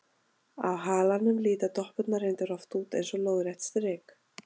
Á halanum líta doppurnar reyndar oft út eins og lóðrétt strik.